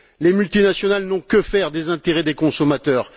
Les multinationales n'ont que faire des intérêts des consommateurs.